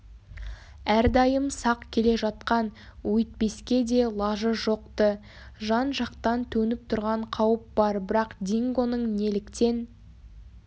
әрдайым сақ келе жатқан өйтпеске де лажы жоқ-ты жан-жақтан төніп тұрған қауіп бар бірақ дингоның неліктен